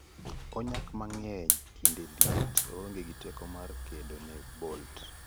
Onyak mangeny kinde liet,- oonge gi teko mare kedo ne bolt.